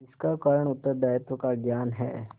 इसका कारण उत्तरदायित्व का ज्ञान है